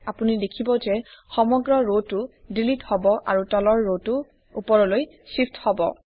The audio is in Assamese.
আপুনি দেখিব যে সমগ্ৰ ৰটো ডিলিট হব আৰু তলৰ ৰটো উপৰলৈ শ্বিফ্ট হব